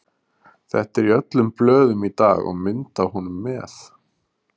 Þetta er í öllum blöðum í dag og mynd af honum með.